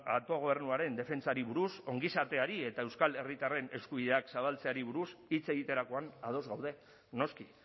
autogobernuaren defentsari buruz ongizateari eta euskal herritarren eskubideak zabaltzeari buruz hitz egiterakoan ados gaude noski